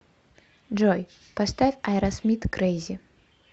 джой поставь аэросмит крэйзи